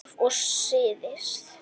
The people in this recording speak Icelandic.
Þjóðlíf og siðir